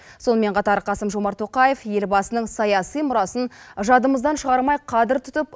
сонымен қатар қасым жомарт тоқаев елбасының саяси мұрасын жадымыздан шығармай қадір тұтып